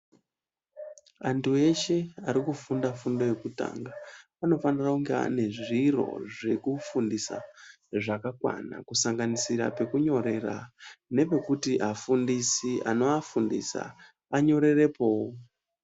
Vantu veshe vari kufunda fundo yokutanga Vanofanira kunge ane zviro zvekufundisa zvakakwana kusanganisira pekunyorera nepekuti afundisi anovafundisa vanyorerepowo.